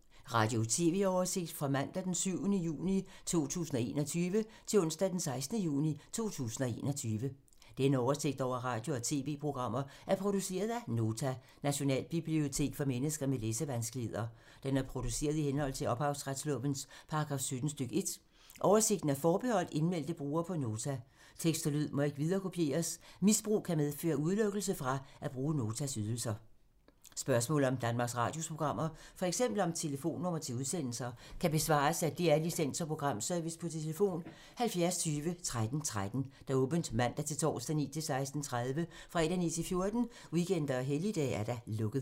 Spørgsmål om Danmarks Radios programmer, f.eks. om telefonnumre til udsendelser, kan besvares af DR Licens- og Programservice: tlf. 70 20 13 13, åbent mandag-torsdag 9.00-16.30, fredag 9.00-14.00, weekender og helligdage: lukket.